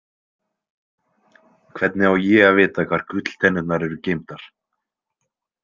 Hvernig á ég að vita hvar gulltennurnar eru geymdar?